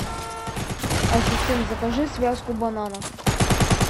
ассистент закажи связку бананов